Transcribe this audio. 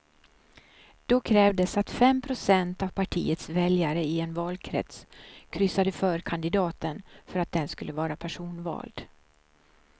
Då krävdes att fem procent av partiets väljare i en valkrets kryssade för kandidaten för att den skulle vara personvald.